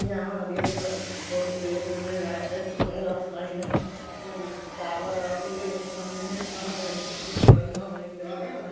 यहाँ हरिय पे बहुत पेड़ हई ओने लाइन से रास्ता हई ओने हई हरियर पेड़ --